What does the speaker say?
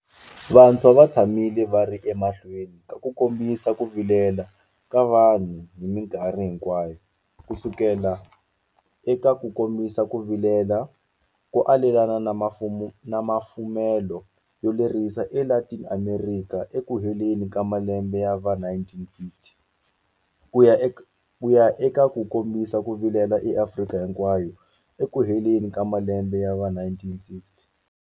Vantshwa va tshamile va ri emahlweni ka ku kombisa ku vilela ka vanhu hi mikarhi hinkwayo, kusukela eka ku kombisa ku vilela ko alelana na mafumelo yo lerisa eLatin Amerika ekuheleni ka malembe ya va1950, kuya eka ku kombisa ku vilela eAfrika hinkwayo ekuheleni ka malembe ya va1960.